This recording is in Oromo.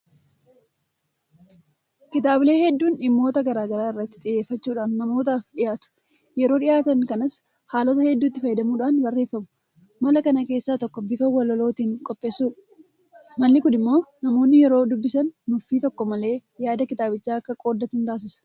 Kitaabilee hedduun dhimmoota gara garaa irratti xiyyeeffachuudhaan namootaaf dhiyaatu. Yeroo dhiyaatan kanas haalota hedduutti fayyadamuudhaan barreeffamu. Mala kana keessaa tokko bifa walalootiin qopheessuudha. Malli kun immoo namoonni yeroo dubbisan nuffii tokko malee yaada kitaabichaa akka qooddatan taasisa.